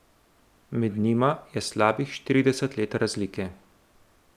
Med njima je slabih štirideset let razlike.